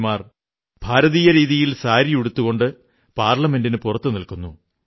പിമാർ ഭാരതീയ രീതിയിൽ സാരി ഉടുത്തുകൊണ്ട് പാർലമെന്റിനു പുറത്തു നിൽക്കുന്നു